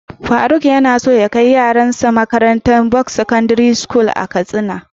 Faruk yanaso ya kai yaron sa makarantar buks secondary school dake katsina.